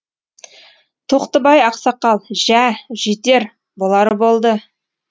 тоқтыбай ақсақал жә жетер болары болды